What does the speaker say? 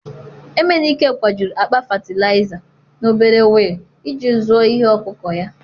emenike, kwajuru akpa fatịlaịza n'obere wheel iji zụọ ihe ọkụkụ ya.